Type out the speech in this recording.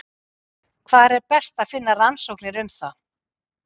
Hvar er best að finna rannsóknir um það?